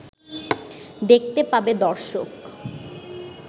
দেখতে পাবে দর্শক